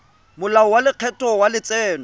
molao wa lekgetho wa letseno